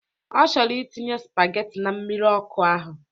Ọ chọrọ itinye spageti na mmiri ọkụ ahụ